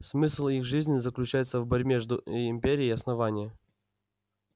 смысл их жизни заключается в борьбе между империей и основанием